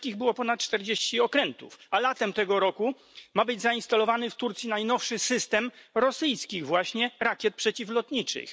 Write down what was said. Tureckich było ponad czterdzieści okrętów, a latem tego roku ma być zainstalowany w Turcji najnowszy system rosyjskich właśnie rakiet przeciwlotniczych.